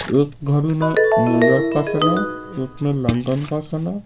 एक घड़ी में न्यूयॉर्क का समय एक में लंदन का समय--